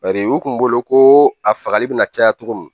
Bari u kun bolo ko a fagali bɛna caya cogo min